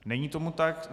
Není tomu tak.